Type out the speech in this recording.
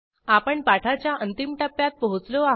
आपण पाठाच्या अंतिम टप्प्यात पोहोचलो आहेत